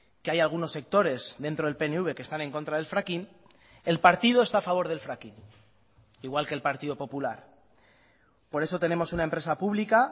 que hay algunos sectores dentro del pnv que están en contra del fracking el partido está a favor del fracking igual que el partido popular por eso tenemos una empresa pública